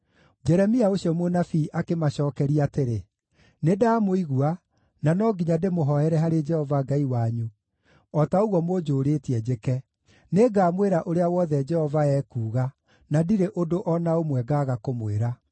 Jeremia ũcio mũnabii akĩmacookeria atĩrĩ, “Nĩndamũigua, na no nginya ndĩmũhooere harĩ Jehova Ngai wanyu o ta ũguo mũnjũũrĩtie njĩke; nĩngamwĩra ũrĩa wothe Jehova ekuuga, na ndirĩ ũndũ o na ũmwe ngaaga kũmwĩra.”